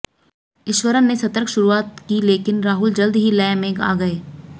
ईश्वरन ने सतर्क शुरुआत की लेकिन राहुल जल्द ही लय में आ गये